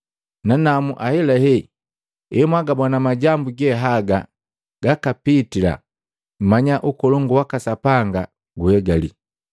Nanamu ahelahe, emwagabona majambu ge haga gakapitila, mmanya ukolongu waka Sapanga guhegali.